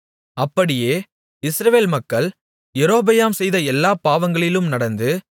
அப்படியே இஸ்ரவேல் மக்கள் யெரொபெயாம் செய்த எல்லாப் பாவங்களிலும் நடந்து